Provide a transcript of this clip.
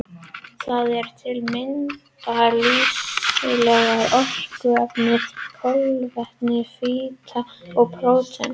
Það eru til að mynda lífsnauðsynlegu orkuefnin kolvetni, fita og prótín.